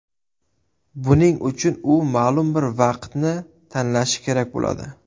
Buning uchun u ma’lum bir vaqtni tanlashi kerak bo‘ladi.